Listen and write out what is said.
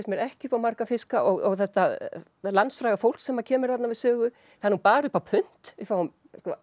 mér ekki upp á marga fiska og þetta landsfræga fólk sem kemur þarna við sögu það er nú bara upp á punt við fáum